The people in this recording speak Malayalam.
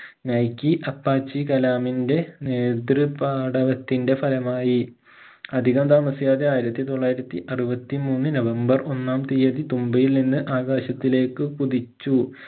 നൈക്കി അപ്പാച്ചി കലാമിൻെറ നേത്ര് പാടവത്തിന്റെ ഫലമായി അധികം താമസിയാതെ ആയിരത്തി തൊള്ളായിരത്തി അറുപത്തി മൂന്ന് നവംബർ ഒന്നാം തിയതി തുമ്പയിൽ നിന്ന് ആകാശത്തിലേക്ക് കുതിച്ചു